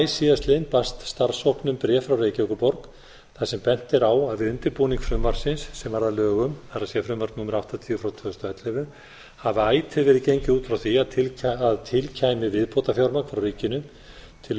síðastliðinn barst starfshópnum bréf frá reykjavíkurborg þar sem bent er á að við undirbúning frumvarpsins sem varð að lögum það er frumvarpi númer áttatíu tvö þúsund og ellefu hefur ætíð verið gengið út frá því að til kæmi viðbótarfjármagn frá ríkinu til